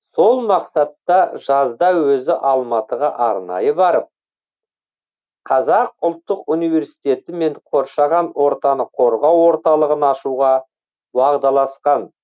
сол мақсатта жазда өзі алматыға арнайы барып қазақ ұлттық университетімен қоршаған ортаны қорғау орталығын ашуға уағдаласқан